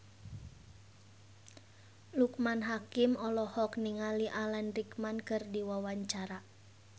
Loekman Hakim olohok ningali Alan Rickman keur diwawancara